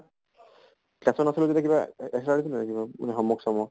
কিবা extra দিছিলে নে কিবা homework চম work ?